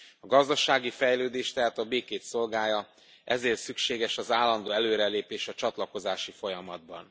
A gazdasági fejlődés tehát a békét szolgálja, ezért szükséges az állandó előrelépés a csatlakozási folyamatban.